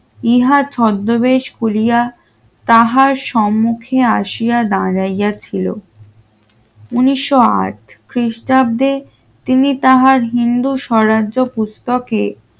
ইহা ছদ্মবেশ কুলিয়া তাহার সম্মুখে আসিয়া দাঁড়াইয়া ছিল উন্নিশশো চার খ্রিস্টাব্দে তিনি তাহার হিন্দু স্বরাজ্য পুস্তকে